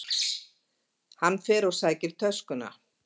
Hann fer og sækir töskuna.